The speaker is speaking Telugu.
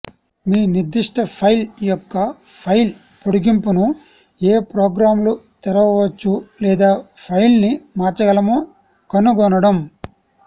మీ నిర్దిష్ట ఫైల్ యొక్క ఫైల్ పొడిగింపును ఏ ప్రోగ్రామ్లు తెరవవచ్చు లేదా ఫైల్ను మార్చగలమో కనుగొనడం